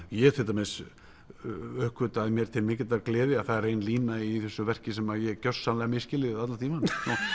ég til dæmis uppgötvaði mér til mikillar gleði að það er ein lína í þessu verki sem ég hef gjörsamlega misskilið allan tímann